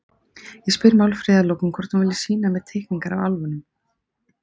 Ég spyr Málfríði að lokum hvort hún vilji sýna mér teikningar af álfunum.